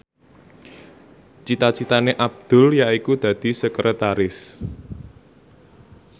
cita citane Abdul yaiku dadi sekretaris